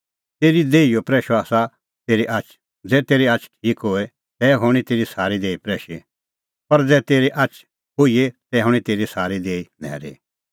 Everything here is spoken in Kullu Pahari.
तेरी देहीओ प्रैशअ आसा तेरी आछ ज़ै तेरी आछ ठीक होए तै हणीं तेरी सारी देही प्रैशी पर ज़ै तेरी आछ खोईए तै हणीं तेरी सारी देही न्हैरी